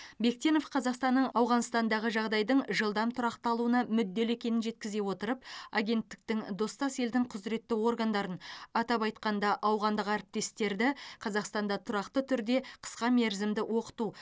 бектенов қазақстанның ауғанстандағы жағдайдың жылдам тұрақталуына мүдделі екенін жеткізе отырып агенттіктің достас елдің құзыретті органдарын атап айтқанда ауғандық әріптестерді қазақстанда тұрақты түрде қысқа мерзімді оқыту